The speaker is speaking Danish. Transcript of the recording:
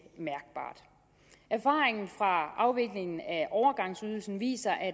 erfaringen fra afviklingen af overgangsydelsen viser at